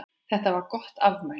Þetta var gott afmæli.